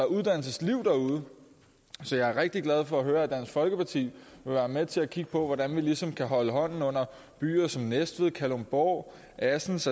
uddannelsesliv derude så jeg er rigtig glad for at høre at dansk folkeparti vil være med til at kigge på hvordan vi ligesom kan holde hånden under byer som næstved kalundborg assens